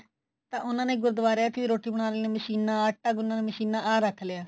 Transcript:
ਤਾਂ ਉਹਨਾ ਨੇ ਗੁਰਦੁਆਰਿਆ ਵਿੱਚ ਰੋਟੀ ਬਨਾਣ ਵਾਲੀ ਮਸ਼ੀਨਾ ਆਟਾ ਗੁੰਨਨ ਵਾਲੀ ਮਸ਼ੀਨਾ ਆਹ ਰੱਖ ਲਿਆ